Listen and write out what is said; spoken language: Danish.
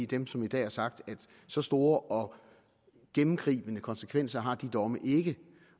dem som i dag har sagt at så store og gennemgribende konsekvenser har de domme ikke